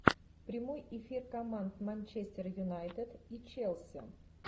прямой эфир команд манчестер юнайтед и челси